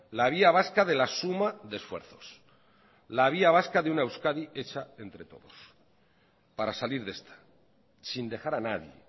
la vía vasca de la suma de esfuerzos la vía vasca de una euskadi hecha entre todos para salir de esta sin dejar a nadie